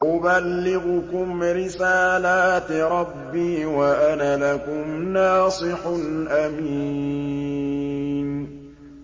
أُبَلِّغُكُمْ رِسَالَاتِ رَبِّي وَأَنَا لَكُمْ نَاصِحٌ أَمِينٌ